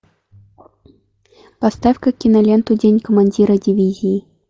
поставь ка киноленту день командира дивизии